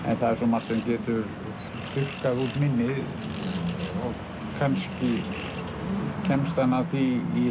en það er svo margt sem getur þurrkað út minnið og kannski kemst hann að því í